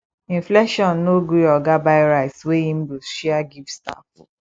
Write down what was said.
inflation no gree oga buy rice wey im go share give staff